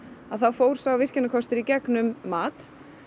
þá fór sá virkjanakostur í gegnum mat